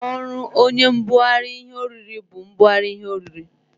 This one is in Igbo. Ọrụ oye mbụgarị ihe orire bu ibụgarị ihe orire.